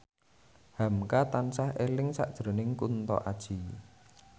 hamka tansah eling sakjroning Kunto Aji